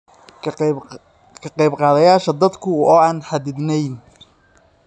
"...ka qaybqaadashada khadku waa aan xadidnayn.